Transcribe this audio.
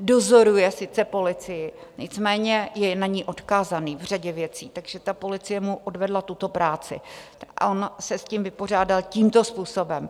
dozoruje sice policii, nicméně je na ni odkázaný v řadě věcí, takže ta policie mu odvedla tuto práci a on se s tím vypořádal tímto způsobem.